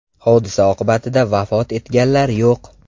Hodisa oqibatida vafot etganlar yo‘q.